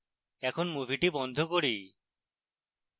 এখন মুভিটি বন্ধ করি